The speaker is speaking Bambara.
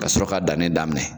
Kasɔrɔ ka dannɛ daminɛ